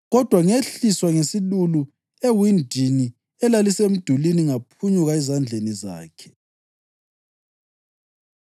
Kodwa ngehliswa ngesilulu ewindini elalisemdulini, ngaphunyuka ezandleni zakhe.